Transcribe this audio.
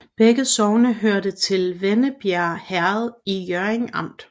Begge sogne hørte til Vennebjerg Herred i Hjørring Amt